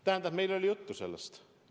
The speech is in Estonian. Tähendab, meil oli sellest juttu.